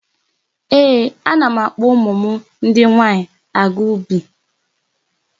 Ee, ana m akpọ ụmụ m ndị nwaanyị aga ubi.